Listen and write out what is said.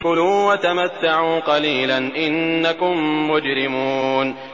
كُلُوا وَتَمَتَّعُوا قَلِيلًا إِنَّكُم مُّجْرِمُونَ